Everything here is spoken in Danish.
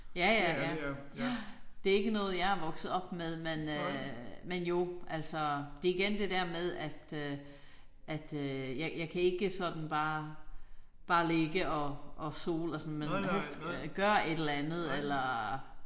Ja ja ja. Det ikke noget jeg er vokset op med men øh men jo altså det igen det der med at øh at øh jeg jeg kan ikke sådan bare bare ligge og og sole og sådan men helst gøre et eller andet eller